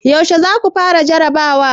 Yaushe za ku fara jarabawa?